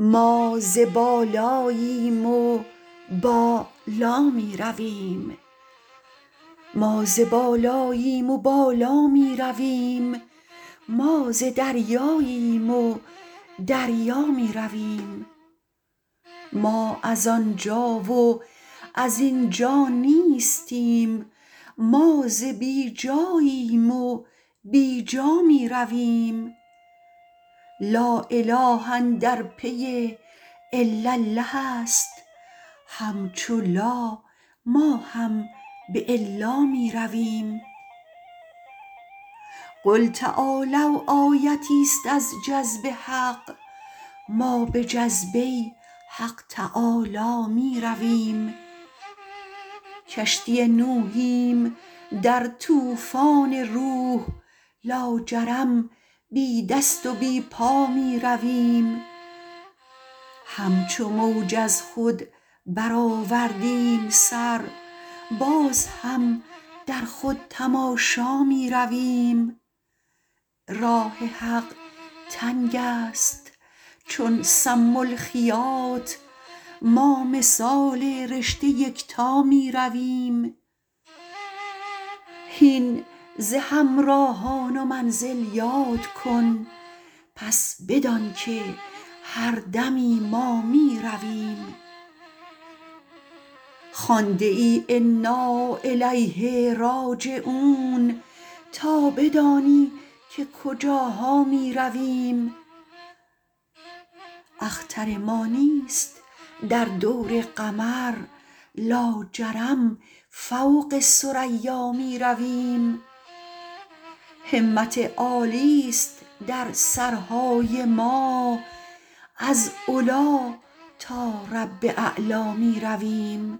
ما ز بالاییم و بالا می رویم ما ز دریاییم و دریا می رویم ما از آن جا و از این جا نیستیم ما ز بی جاییم و بی جا می رویم لااله اندر پی الالله است همچو لا ما هم به الا می رویم قل تعالوا آیتیست از جذب حق ما به جذبه حق تعالی می رویم کشتی نوحیم در طوفان روح لاجرم بی دست و بی پا می رویم همچو موج از خود برآوردیم سر باز هم در خود تماشا می رویم راه حق تنگ است چون سم الخیاط ما مثال رشته یکتا می رویم هین ز همراهان و منزل یاد کن پس بدانک هر دمی ما می رویم خوانده ای انا الیه راجعون تا بدانی که کجاها می رویم اختر ما نیست در دور قمر لاجرم فوق ثریا می رویم همت عالی است در سرهای ما از علی تا رب اعلا می رویم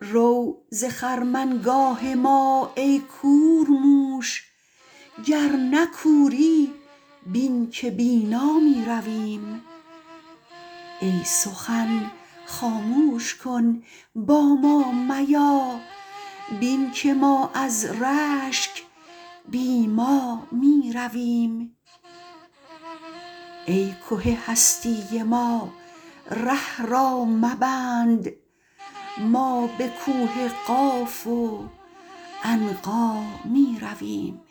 رو ز خرمنگاه ما ای کورموش گر نه کوری بین که بینا می رویم ای سخن خاموش کن با ما میا بین که ما از رشک بی ما می رویم ای که هستی ما ره را مبند ما به کوه قاف و عنقا می رویم